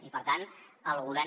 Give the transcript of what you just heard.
i per tant el govern